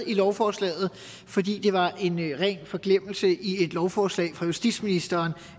i lovforslaget fordi var en ren forglemmelse i et lovforslag fra justitsministeren